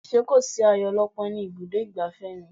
Ṣé kò sí ayo ọlọ́pọ́n ní ibùdó ìgbafẹ́ ni?